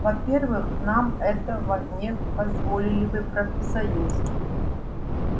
во-первых нам этого не позволили бы профсоюзы